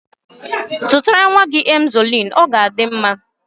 Zụtara nwa gị nwaanyị Emzọliinu, ọ ga adị mma